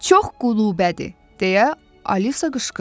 Çox qulubədir, deyə Alisa qışqırdı.